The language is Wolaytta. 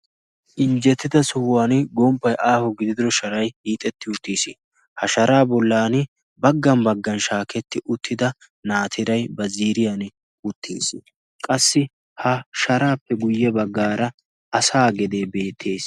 injjettida sohuwan gomppai aaho gididiro sharai iixetti uttiis ha sharaa bollan baggan baggan shaaketti uttida naatirai ba ziriyan uttiis qassi ha sharaappe guyye baggaara asa gedee beettees